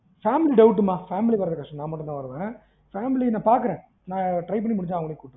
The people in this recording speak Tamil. family doubt மா family வறது கஷ்டம் நா மட்டும் தான் வருவன், நா பாக்குறன் நா try பண்ண முடிஞ்சா அவங்களையும் கூட்டுவரன்